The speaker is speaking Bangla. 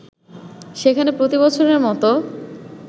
সেখানে প্রতিবছরের মতো